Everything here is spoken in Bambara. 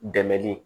Dɛmɛli